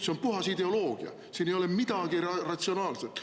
See on puhas ideoloogia, siin ei ole midagi ratsionaalset.